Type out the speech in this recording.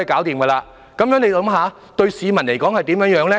大家想想，這對市民有甚麼影響？